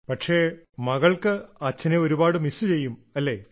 പക്ഷേ മകൾക്ക് അച്ഛനെ ഒരുപാട് മിസ്സ് ചെയ്യും അല്ലേ